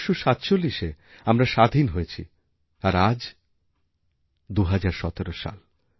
১৯৪৭এ আমরা স্বাধীন হয়েছি আর আজ২০১৭ সাল